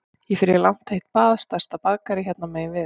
Ég fer í langt heitt bað í stærsta baðkari hérna megin við